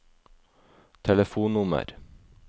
telefonnummer